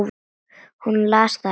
Hún las það ekki.